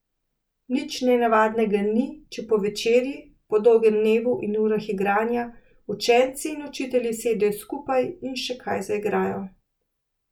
Nič nenavadnega ni, če po večerji, po dolgem dnevu in urah igranja, učenci in učitelji sedejo skupaj in še kaj zaigrajo.